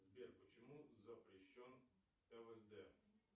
сбер почему запрещен лсд